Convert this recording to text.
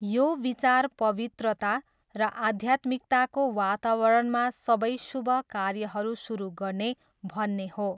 यो विचार पवित्रता र आध्यात्मिकताको वातावरणमा सबै शुभ कार्यहरू सुरु गर्ने भन्ने हो।